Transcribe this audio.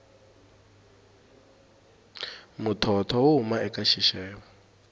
muthotho wu huma eka xixevo